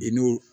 I n'o